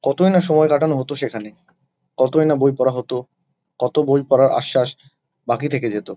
কতই না সময় কাটানো হতো সেখানে। কতই না বই পড়া হতো। কত বই পড়ার আশ্বাস বাকি থেকে যেত।